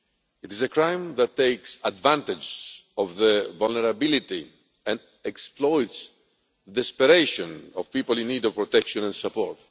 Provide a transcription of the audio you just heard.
It is a crime that takes advantage of the vulnerability and exploits the desperation of people in need of protection and support.